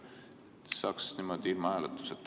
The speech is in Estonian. Niimoodi saaks ilma hääletuseta.